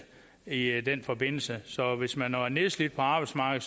i i den forbindelse så hvis man er nedslidt på arbejdsmarkedet